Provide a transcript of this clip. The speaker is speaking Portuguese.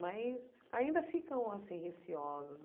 Mas ainda ficam, assim, receosas.